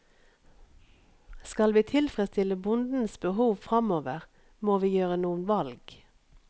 Skal vi tilfredsstille bondens behov framover, må vi gjøre noen valg.